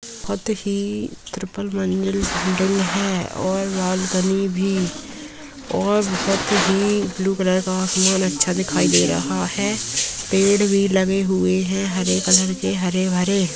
बहुत ही ट्रिपल मंजिल है और बालकनी भी और बहुत ही ब्लू कलर का आसमान अच्छा दिखाई दे रहा है पेड़ भी लगे हुए हैं हरे कलर के हरे-भरे --